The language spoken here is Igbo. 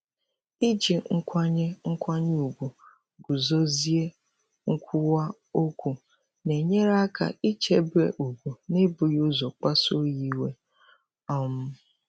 Iji nkwanye nkwanye ùgwù guzozie nkwuwa okwu na-enyere aka ichebe ugwu n'ebughị ụzọ kpasuo ya iwe. um